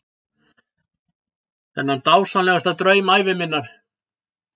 Þennan dásamlegasta draum ævi minnar.